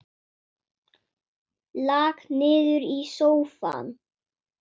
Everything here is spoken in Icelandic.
Lak niður í sófann.